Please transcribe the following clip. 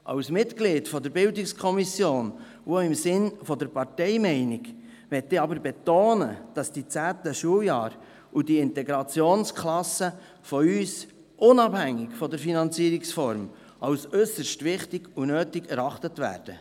Als Mitglied der BiK und auch im Sinne der Parteimeinung möchte ich aber betonen, dass die zehnten Schuljahre und die Integrationsklassen unabhängig von der Finanzierungsform von uns als äusserst wichtig und nötig erachtet werden.